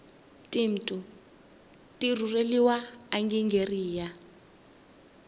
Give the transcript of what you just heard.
timtu tirureliwa anigeria